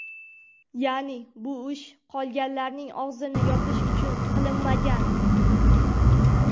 Ya’ni, bu ish qolganlarning og‘zini yopish uchun qilinmagan.